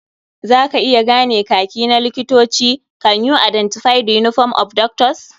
Za ka iya gane Kaki na likitoci? Can you identify the uniform of doctors?